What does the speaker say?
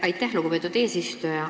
Aitäh, lugupeetud eesistuja!